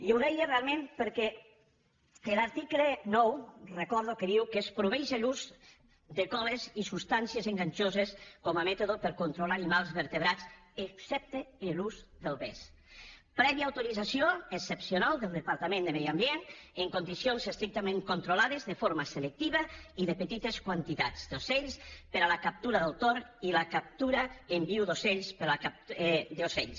i ho deia realment perquè l’article nou recordo que diu que es prohibeix l’ús de coles i substàncies enganxoses com a mètode per a controlar animals vertebrats excepte l’ús del vesc prèvia autorització excepcional del departament de medi ambient en condicions estrictament controlades de forma selectiva i de petites quantitats d’ocells per a la captura del tord i la captura en viu d’ocells